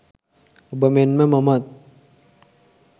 ඔබ මෙන්ම මමත්